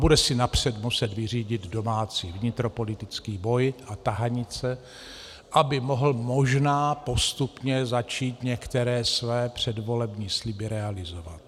Bude si napřed muset vyřídit domácí vnitropolitický boj a tahanice, aby mohl možná postupně začít některé své předvolební sliby realizovat.